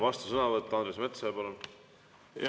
Vastusõnavõtt Andres Metsojalt, palun!